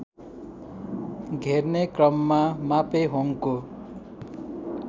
घेर्ने क्रममा मापेहोङको